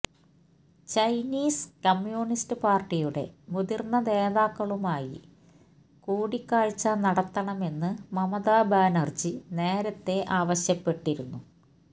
Chinese communist പാര്ട്ടിയുടെ മുതിര്ന്ന നേതാക്കളുമായി കൂടിക്കാഴ്ച നടത്തണമെന്ന് മമതാ ബാനര്ജി നേരത്തെ ആവശ്യപ്പെട്ടിരുന്നു